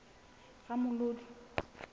ramolodi